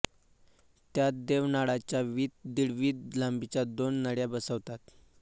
त्यात देवनाळाच्या वीत दीड वीत लांबीच्या दोन नळ्या बसवतात